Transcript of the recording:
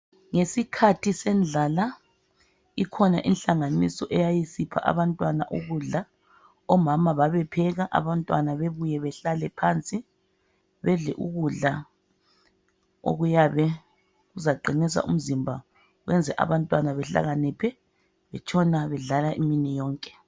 Ngesikhathi sendlala ikhona ihlanganiso eyayispha abantwana ukudla. Omama babepheka abantwana bebuye behlale phansi, bedle ikudla okuyabe kuzaqinisa umzimba , kwenze abantwana behlakaniphe betshina bedlala imini yonke.